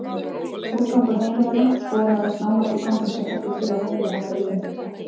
Úrgangur heimilanna Skoðum aðeins nánar úrganginn sem fellur til á heimilum okkar Íslendinga.